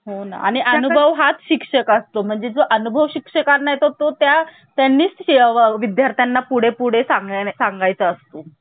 त्याचबरोबर राष्ट्रपतींच्या निवडणुकीच्या पद्धत सुद्धा आपण कोणाकडून घेतलेली आहे आर्लंडकडून घेतलेली आहे. आणि यानंतर आपण कॅनडाकडून काय घेतलेले आहे तर कॅनडाकडून प्रबळ संघराज्य म्हणजे Powerful केंद्र जे असत